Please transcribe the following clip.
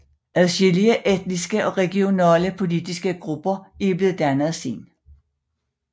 Adskillige etniske og regionale politiske grupper er blevet dannet siden